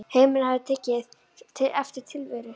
Heimurinn hafði aftur tekið eftir tilveru